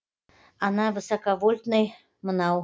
ана высоковольтный мынау